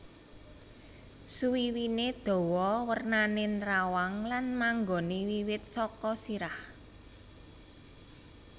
Suwiwiné dawa wernané nrawang lan manggoné wiwit saka sirah